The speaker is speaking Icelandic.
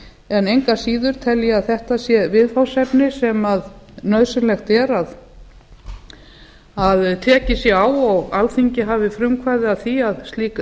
en engu að síður ætla ég að þetta sé viðfangsefni sem nauðsynlegt er að tekið sé á og alþingi hafi frumkvæði að því að slík